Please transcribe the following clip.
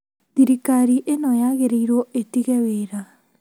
Thirikari ĩno yagĩrĩrwo ĩtige wĩra